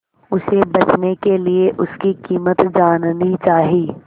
उसे बचने के लिए उसकी कीमत जाननी चाही